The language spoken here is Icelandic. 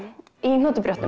í